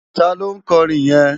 Táló nkòrin yèn?